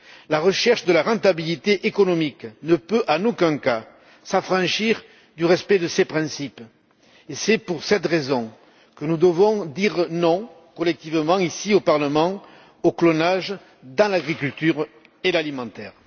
La recherche de la rentabilité économique ne peut en aucun cas s'affranchir du respect de ces principes et c'est pour cette raison que nous devons dire non collectivement, ici au Parlement, au clonage dans l'agriculture et l'alimentaire.